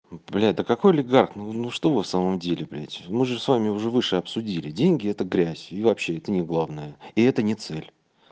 блядь да какой легарт ну что в самом деле блядь мы же с вами уже выше обсудили деньги это грязь и вообще это не главное и это не цель